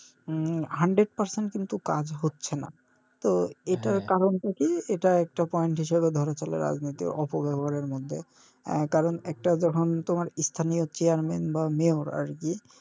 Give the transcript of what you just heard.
উম hundred percent কিন্তু কাজ হচ্ছে না তো এটার কারন টা কী এটা একটা point হিসাবে ধরে চলে রাজনীতির অপব্যাবহারের মধ্যে আহ কারন একটা যখন তোমার স্থানীয় chair man বা Mayor আরকি